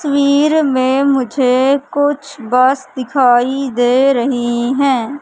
तस्वीर में मुझे कुछ बस दिखाई दे रही है।